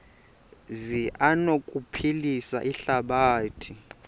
zi anokuphilisa ihlabathi